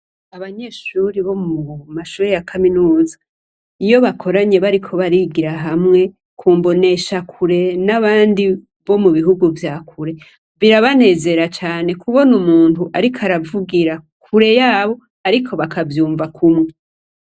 Abanyeshuri bo mu mashuri ya kaminuza iyo bakoranye bariko barigira hamwe kumbonesha kure n'abandi bo mu bihugu vya kure birabanezera cane kubona umuntu, ariko aravugira kure yabo, ariko bakavyumva kumwe.